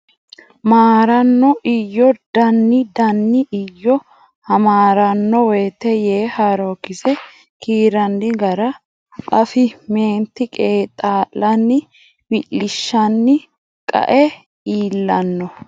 maaranno Iyyo daanni daanni Iyyo hamaaranno wote yee Haarookkise kiirranni gara afi meenti qeexaa lanni wi lishanni qae iillanno !